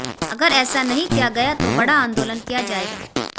अगर ऐसा नहीं किया गया तो बड़ा आंदोलन किया जाएगा